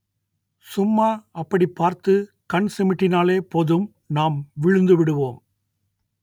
சும்மா அப்படி பார்த்து கண் சிமிட்டினாலே போதும் நாம் விழுந்துவிடுவோம்